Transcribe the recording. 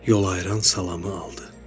Yol ayıran salamı aldı.